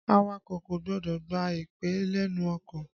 Awakọ̀ kò gbọdọ̀ gba ìpè lénu ọkọ̀.